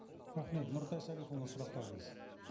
рахмет нұртай салихұлына сұрақтарыңыз